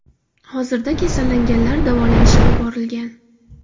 Hozirda kasallanganlar davolanishga yuborilgan.